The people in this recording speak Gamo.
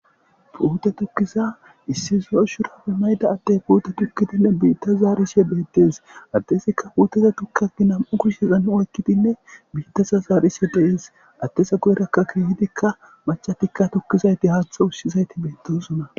Puude tukkiza issi zo'o shurabe mayida adde puute tokkidinne biitta zaarishe beettes. Addesikka puteza tokkaki nam'u kushshezan oykkidinne biittasa zaarishe dees.addes guyerakka keehidikka machatikka tukkizayti haatha ussizayti beettosona.